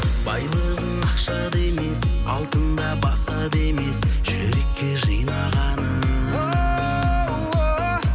байлығың ақшада емес алтында басқа да емес жүрекке жинағаның о